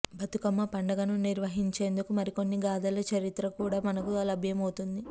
బతుకమ్మ పండుగను నిర్వహించేందుకు మరికొన్ని గాధల చరిత్ర కూడా మనకు లభ్యం అవుతుంది